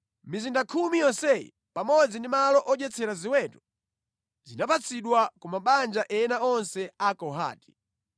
Mizinda khumi yonseyi pamodzi ndi malo odyetsera ziweto, zinapatsidwa ku mabanja ena onse a Akohati.